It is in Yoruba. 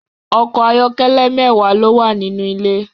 Ọkọ̀ ayọ́kẹ́lẹ́ mẹ́wàá ló wà nínú ilé